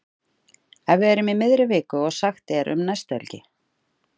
Ef við erum í miðri viku og sagt er um næstu helgi.